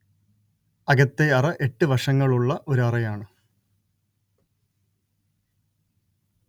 അകത്തെ അറ എട്ട് വശങ്ങളുള്ള ഒരു അറയാണ്